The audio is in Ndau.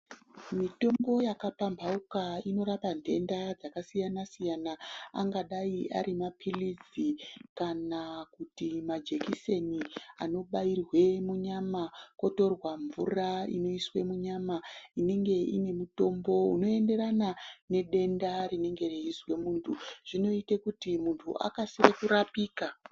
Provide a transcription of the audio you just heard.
Mitombo yakapamphauka inorapa nthenda dzakasiyana-siyana, angadai ari mapilizi, kana kuti majekiseni anobairwe munyama kotorwa mvura oiswe munyama inenge ine mitombo, inoenderana nedenda rinenge reizwa munthu, zvinoite kuti munthu akase kurapika.